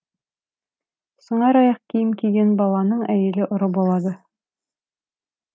сыңар аяқ киім киген баланың әйелі ұры болады